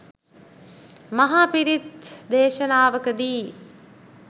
මහ පිරිත් දේශනාවකදී